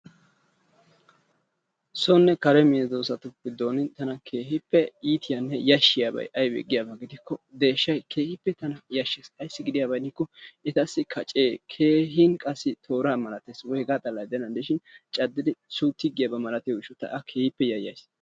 sonne kare medoosatu giddon tana keehippe iitiyanne yashiyabay aybee giikko deeshshay keehippe yashshees, aybee giyaaba gidikko etassi kacee keehin tooraa malatees, hegaa xalla gidennan de'ishin caddidi suuttigiyaba malatin ta a keehippe yayays.